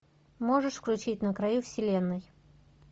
можешь включить на краю вселенной